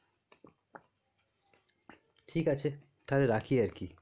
ঠিক আছে তাহলে রাখি আরকি.